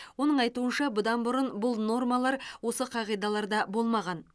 оның айтуынша бұдан бұрын бұл нормалар осы қағидаларда болмаған